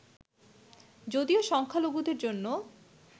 যদিও সংখ্যালঘুদের জন্য